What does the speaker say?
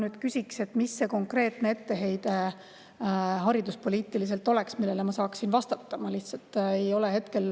Ma küsiks, mis oleks konkreetne etteheide hariduspoliitika kohta, millele ma saaksin vastata.